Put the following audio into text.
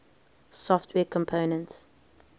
software components